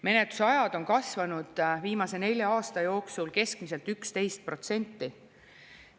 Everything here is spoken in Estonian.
Menetlusajad on kasvanud viimase nelja aasta jooksul keskmiselt 11%.